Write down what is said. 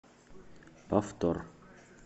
повтор